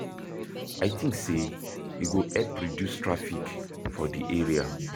I think say e go help reduce traffic for di area.